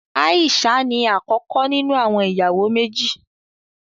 Aisha ní akọkọ nínú àwọn ìyàwó méjì.